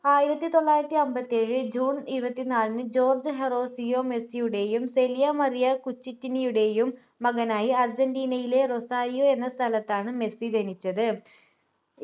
ആയിരത്തി തൊള്ളായിരത്തി അമ്പത്തിഏഴ് june ഇരുപത്തിനാലിന് ജോർജ്ജ് ഹൊറാസിയോ മെസ്സിയുടേയും സെലിയ മറിയ കുചിറ്റിനിയുടേയും മകനായി അർജന്റീനയിലെ റൊസാരിയോ എന്ന സ്ഥലത്താണ് മെസ്സി ജനിച്ചത്